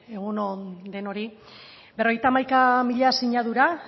egun on denoi berrogeita hamaika mila sinadura